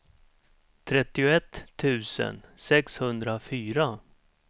trettioett tusen sexhundrafyra